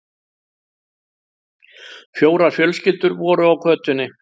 Fjórar fjölskyldur voru á götunni.